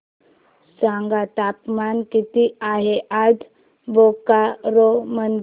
सांगा तापमान किती आहे आज बोकारो मध्ये